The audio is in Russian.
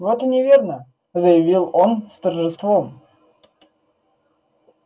вот и неверно заявил он с торжеством